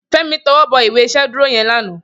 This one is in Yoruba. Femi tòwòbò ìwé ìṣédùró yèn lànã